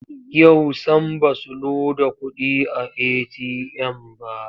Yau sam ba su loda kuɗi a eti'yam ba.